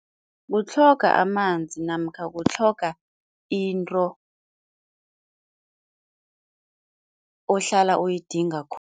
Kutlhoga amanzi namkha kutlhoga into ohlala uyidinga khulu.